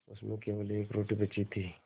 उसमें केवल एक रोटी बची थी